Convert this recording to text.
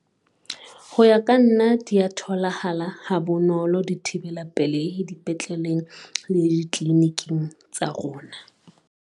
Ho ya ka nna, di a tholahala ha bonolo dithibela pelehi dipetleleng le ditliliniking tsa rona.